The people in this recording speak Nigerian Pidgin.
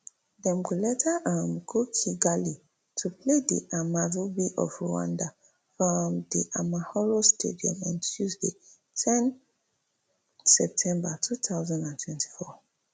dem go later um go kigali to play di amavubi of rwanda for um di amahoro stadium on tuesday ten september two thousand and twenty-four